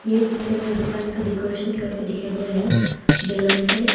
ये पिक्चर में दुकान का डेकोरेशन करके दिखाई दे रहा है बैलून से।